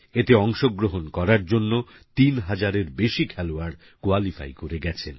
এতে অংশগ্রহণ করার জন্যে ৩০০০এর বেশি খেলোয়াড় কোয়ালিফাই করে গেছেন